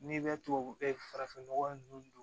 N'i bɛ tubabu farafinnɔgɔ ninnu